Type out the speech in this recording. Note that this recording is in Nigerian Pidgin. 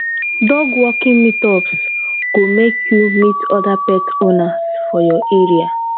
dog walking meetups go make you meet other pet owners for your area